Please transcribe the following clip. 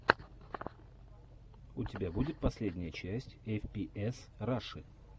у тебя будет последняя часть эф пи эс раши